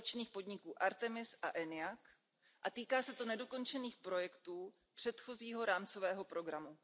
společných podniků Artemis a ENIAC, a týká se to nedokončených projektů předchozího rámcového programu.